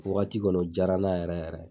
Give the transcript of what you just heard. Wagati kɔni o jaara n na yɛrɛ yɛrɛ.